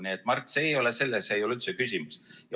Nii et, Mart, selles ei ole üldse küsimus.